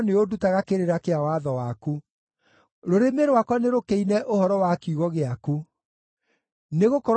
Rũrĩmĩ rwakwa nĩrũkĩine ũhoro wa kiugo gĩaku, nĩgũkorwo maathani maku mothe nĩ ma ũthingu.